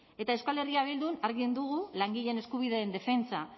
eta euskal herria bildun argi dugu langileen eskubideen defentsa